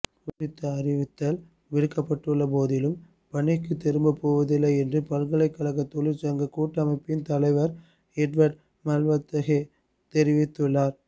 குறித்த அறிவித்தல் விடுக்கப்பட்டுள்ள போதிலும் பணிக்கு திரும்ப போவதில்லை என்று பல்கலைக்கழக தொழிற்சங்க கூட்டமைப்பின் தலைவர் எட்வட் மல்வத்தகே தெரிவித்துள்ளார்